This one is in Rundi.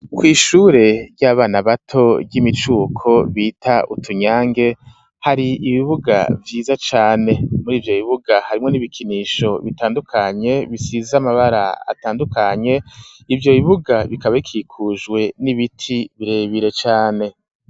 Kw'ishure ry'abana bato ry'imicuko bita utunyange, hari ibibuga vyiza cane, muri ivyo bibuga harimwo n'ibikinisho bitandukanye bisize amabara atandukanye ivyo bibuga bikaba bikikujwe n'ibiti birebire cane.